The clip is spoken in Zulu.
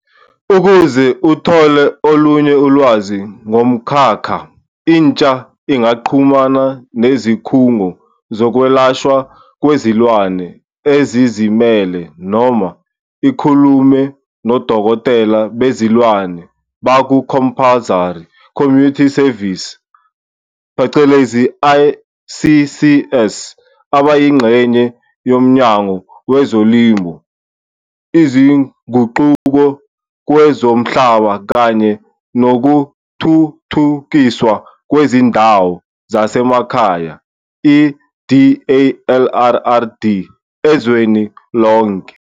Ukuze uthole olunye ulwazi ngomkhakha, intsha ingaxhumana nezikhungo zokwelashwa kwezilwane ezizimele noma ikhulume nodokotela bezilwane baku-compulsory community service, phecelezi i-CCS, abayingxenye yoMnyango Wezolimo, Izinguquko Kwezomhlaba kanye Nokuthuthukiswa Kwezindawo Zasemakhaya, i-DALRRD, ezweni lonke.